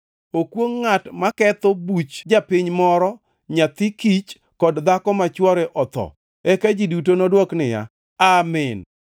“Okwongʼ ngʼat maketho buch japiny moro, nyathi kich kod dhako ma chwore otho.” Eka ji duto nodwok niya, “Amin!”